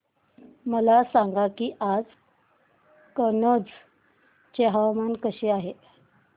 मला सांगा की आज कनौज चे हवामान कसे आहे